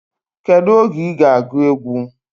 Kedu oge iga agu egwu?